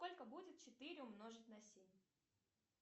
сколько будет четыре умножить на семь